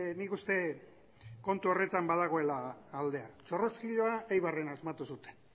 nik uste kontu horretan badagoela aldea txorroskiloa eibarren asmatu zuten